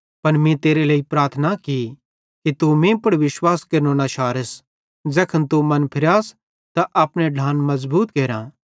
पन मीं तेरे लेइ प्रार्थना की कि तू मीं पुड़ विश्वास केरनो न शारस ज़ैखन तू मन फिरास त अपने विश्वासी ढ्लान मज़बूत केरां